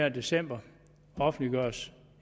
i december og offentliggøres